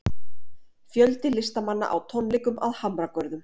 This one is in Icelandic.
Fjöldi listamanna á tónleikum að Hamragörðum